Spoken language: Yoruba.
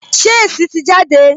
Ṣé èsì tì jáde?